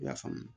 I y'a faamu